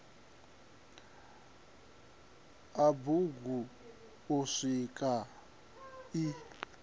a bugu u swika i